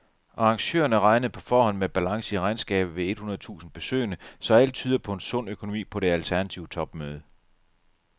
Arrangørerne regnede på forhånd med balance i regnskabet ved et hundrede tusind besøgende, så alt tyder på en sund økonomi på det alternative topmøde.